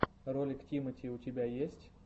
ролик тимати у тебя есть